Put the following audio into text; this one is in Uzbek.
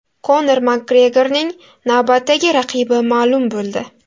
Konor Makgregorning navbatdagi raqibi ma’lum bo‘ldi.